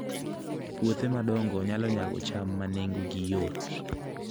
Puothe madongo nyalo nyago cham ma nengogi yot